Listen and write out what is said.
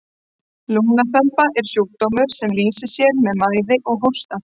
lungnaþemba er sjúkdómur sem lýsir sér með mæði og hósta